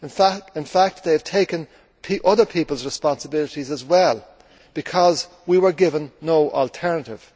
in fact, they have taken other people's responsibilities as well, because we were given no alternative.